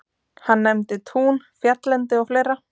Hann nefndi tún, fjalllendi og fleira.